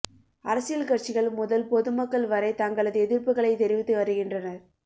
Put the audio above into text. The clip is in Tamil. அரசியல் கட்சிகள் முதல் பொதுமக்கள் வரை தங்களது எதிர்ப்புகளை தெரிவித்து வருகின்றனர்